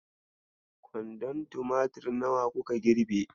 Kwandon tumatur nawa kuka girbe?